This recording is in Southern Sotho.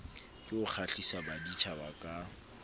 ke ho kgahlisa baditjhaba ka